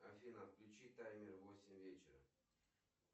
афина отключи таймер восемь вечера